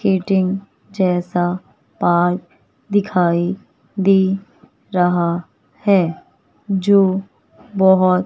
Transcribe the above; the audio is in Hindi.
कीटिंग जैसा पार्क दिखाई दे रहा है जो बहोत--